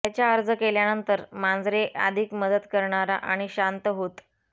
त्याच्या अर्ज केल्यानंतर मांजरे अधिक मदत करणारा आणि शांत होत